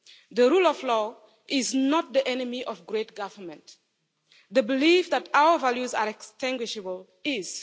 The rule of law is not the enemy of great government the belief that our values are extinguishable is!